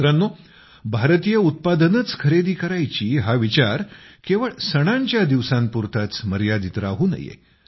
मित्रांनो भारतीय उत्पादनेच खरेदी करायची हा विचार केवळ सणांच्या दिवसांपुरताच मर्यादित राहू नये